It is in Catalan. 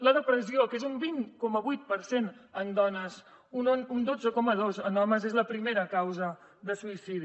la depressió que és un vint coma vuit per cent en dones un dotze coma dos en homes és la primera causa de suïcidi